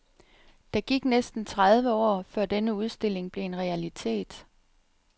Der gik næsten tredive år, før denne udstilling blev en realitet.